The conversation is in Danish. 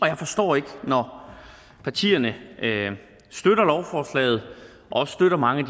jeg forstår ikke når partierne støtter lovforslaget og også støtter mange